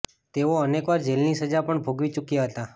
તેઓ અનેકવાર જેલની સજા પણ ભોગવી ચૂક્યા હતા